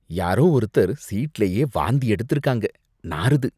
யாரோ ஒருத்தர் சீட்லயே வாந்தி எடுத்திருக்காங்க, நாறுது.